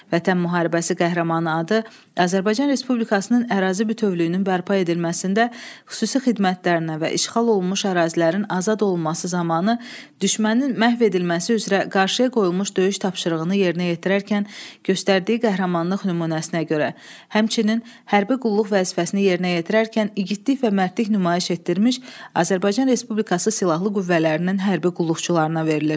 Vətən Müharibəsi Qəhrəmanı adı Azərbaycan Respublikasının ərazi bütövlüyünün bərpa edilməsində xüsusi xidmətlərinə və işğal olunmuş ərazilərin azad olunması zamanı düşmənin məhv edilməsi üzrə qarşıya qoyulmuş döyüş tapşırığını yerinə yetirərkən göstərdiyi qəhrəmanlıq nümunəsinə görə, həmçinin hərbi qulluq vəzifəsini yerinə yetirərkən igidlik və mərdlik nümayiş etdirmiş Azərbaycan Respublikası Silahlı Qüvvələrinin hərbi qulluqçularına verilir.